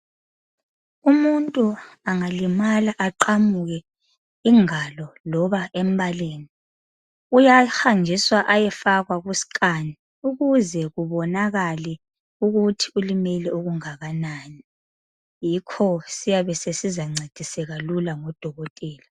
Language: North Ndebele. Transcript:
Umuntu angalimala aqamuke ingalo loba embaleni uyahanjiswa ayefakwa ku Scan ukuze kubonakale ukuthi ulimele okungakanani. Yikho siyabe sesizancediseka lula ngodokotela